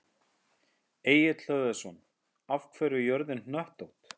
Egill Hlöðversson: Af hverju er jörðin hnöttótt?